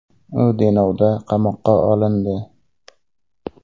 U Denovda qamoqqa olindi.